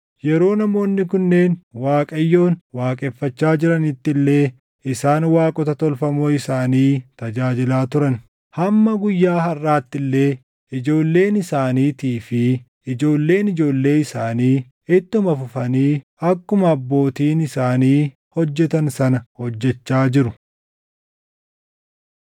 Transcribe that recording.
Yeroo namoonni kunneen Waaqayyoon waaqeffachaa jiranitti illee isaan waaqota tolfamoo isaanii tajaajilaa turan. Hamma guyyaa harʼaatti illee ijoolleen isaaniitii fi ijoolleen ijoollee isaanii ittuma fufanii akkuma abbootiin isaanii hojjetan sana hojjechaa jiru.